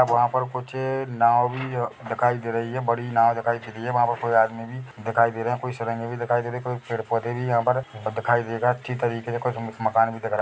अब वहाँ पर कुछ नाव भी दिखाई दे रही है बड़ी नाव दिखाई दे रही है वहाँ पर कोई आदमी भी दिखाई दे रहे है कोई भी दिखाई दे रही है कोई पेड़-पौधे भी यहाँ पर दिखाई देगा अच्छी तरीके से कुछ म मकान भी दिख रहा --